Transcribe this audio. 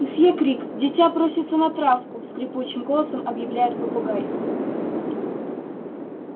месье крик дитя просится на травку скрипучим голосом объявляет попугай